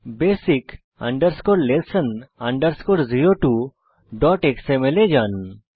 basic lesson 02xml এ যান